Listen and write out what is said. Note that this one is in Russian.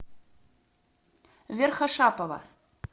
верхошапова